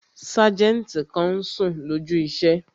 Sájẹ̀ntì kan n sùn lójú iṣẹ́